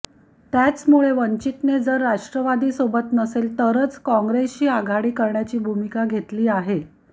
त्यामुळेच वंचितने जर राष्ट्रवादी सोबत नसेल तरच काँग्रेसशी आघाडी करण्याची भूमिका घेतली आहे